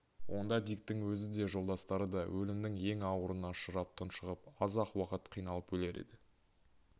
онда диктің өзі де жолдастары да өлімнің ең ауырына ұшырап тұншығып аз-ақ уақыт қиналып өлер еді